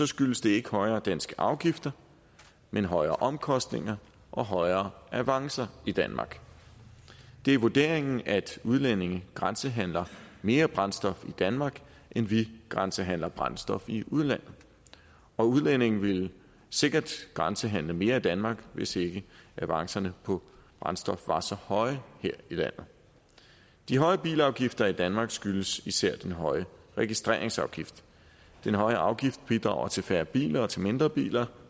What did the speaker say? skyldes det ikke højere danske afgifter men højere omkostninger og højere avancer i danmark det er vurderingen at udlændinge grænsehandler mere brændstof i danmark end vi grænsehandler brændstof i udlandet og udlændinge ville sikkert grænsehandle mere i danmark hvis ikke avancerne på brændstof var så høje her i landet de høje bilafgifter i danmark skyldes især den høje registreringsafgift den høje afgift bidrager til færre biler og til mindre biler